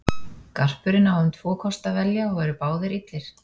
Garpurinn á um tvo kosti að velja og eru báðir illir.